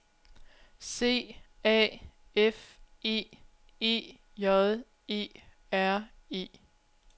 C A F É E J E R E